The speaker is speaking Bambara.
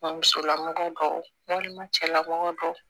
Musolamamɔgɔ dɔ walima cɛlamɔgɔ dɔw